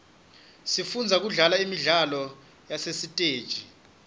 sifunza kudlala imidlalo yasesiteji